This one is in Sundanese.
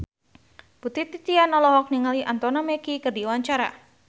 Putri Titian olohok ningali Anthony Mackie keur diwawancara